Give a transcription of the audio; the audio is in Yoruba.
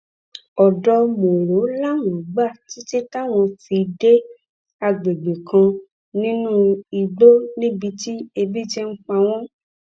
ọdọ mòro làwọn gbà títí táwọn fi dé àgbègbè kan nínú igbó níbi tí ebi ti ń pa wọn